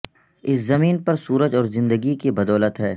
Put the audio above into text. اس زمین پر سورج اور زندگی کی بدولت ہے